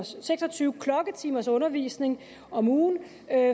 seks og tyve klokketimers undervisning om ugen